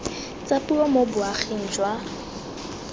tsa puo mo boaging jwa